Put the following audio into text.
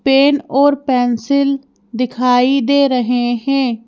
Pen और pencil दिखाई दे रहे हैं।